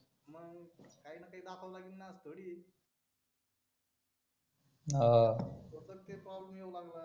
काही ना काही दाखवावे लागेल ना असं थोडी आहे तो तर प्रॉब्लेम येऊ लागला